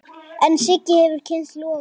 En Siggi hefur kynnst loga.